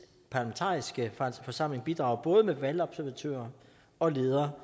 parlamentariske forsamling bidrager både med valgobservatører og